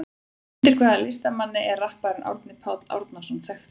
Undir hvaða listamannsnafni er rapparinn Árni Páll Árnason þekktur?